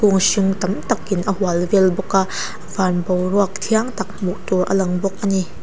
thingkung hring tam takin a hual vel bawk a van boruak thiang tak hmuh tur a lang bawk ani.